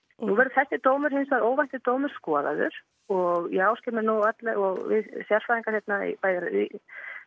nú verður þessi dómur hins vegar óvænti dómur skoðaður og ég áskil mér nú alla og við sérfræðingar hérna bæði í